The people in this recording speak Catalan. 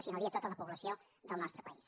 si no dir tota la població del nostre país